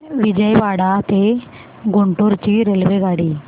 विजयवाडा ते गुंटूर ची रेल्वेगाडी